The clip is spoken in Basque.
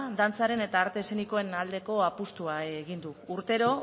dantzaren eta arte eszenikoen aldeko apustua egin du urtero